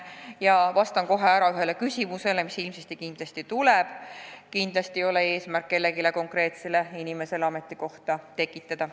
Ja vastan kohe ära ühele küsimusele, mis ilmselt tuleb: kindlasti ei ole eesmärk mõnele konkreetsele inimesele ametikohta tekitada.